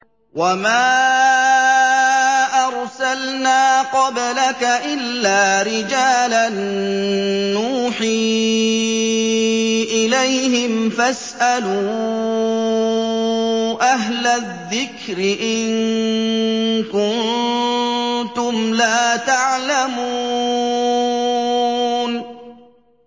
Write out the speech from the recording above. وَمَا أَرْسَلْنَا قَبْلَكَ إِلَّا رِجَالًا نُّوحِي إِلَيْهِمْ ۖ فَاسْأَلُوا أَهْلَ الذِّكْرِ إِن كُنتُمْ لَا تَعْلَمُونَ